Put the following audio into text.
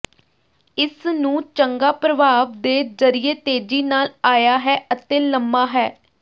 ਇਸ ਨੂੰ ਚੰਗਾ ਪ੍ਰਭਾਵ ਦੇ ਜ਼ਰੀਏ ਤੇਜ਼ੀ ਨਾਲ ਆਇਆ ਹੈ ਅਤੇ ਲੰਮਾ ਹੈ